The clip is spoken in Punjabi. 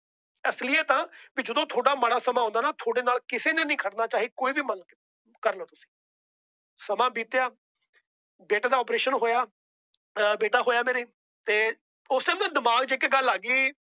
ਅਸਲੀਅਤ ਏ ਜਦੋ ਤੁਹਾਡਾ ਮਾੜਾ ਸਮਾਂ ਆਉਂਦਾ ਨਾ ਤੁਹਾਡੇ ਨਾਲ ਕਿਸੇ ਨੇ ਨਹੀਂ ਖੜਨਾ। ਚਾਹੇ ਕੋਈ ਵੀ ਕਰ ਲੋ ਸਮਾਂ ਬੀਤਿਆਂ ਬੇਟੇ ਦਾ ਓਪਰੇਸ਼ਨ ਹੋਇਆ। ਆ ਬੇਟਾ ਹੋਇਆ ਮੇਰੇ ਤੇ ਉਸ ਦਿਨ ਨਾ ਦਿਮਾਗ ਚ ਇੱਕ ਗੱਲ ਆ ਗਈ।